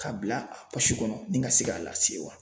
K'a bila a kɔnɔ ni ka se k'a lase wa.